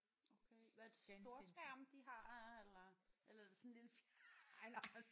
Okay hvad er det så storskærm de har eller eller er det sådan en lille